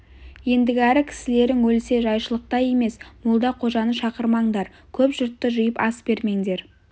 ендігәрі кісілерің өлсе жайшылықтай емес молда-қожаны шақырмаңдар көп жұртты жиып ас бермеңдер